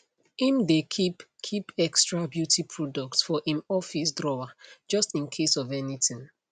im dae keep keep extra beauty products for im office drawer just incase of anything